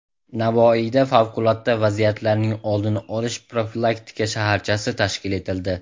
Navoiyda Favqulodda vaziyatlarning oldini olish profilaktika shaharchasi tashkil etildi .